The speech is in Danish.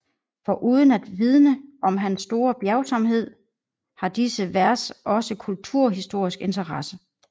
Foruden at vidne om hans store bjergsomhed har disse vers også kulturhistorisk interesse